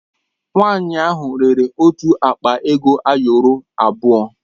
Nwanyị ahụ rere otu akpa ego ayọrọ abụọ.